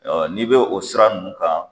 n'i bɛ o siran nunnu kan.